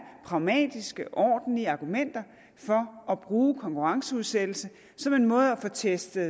pragmatiske og ordentlige argumenter for at bruge konkurrenceudsættelse som en måde at få testet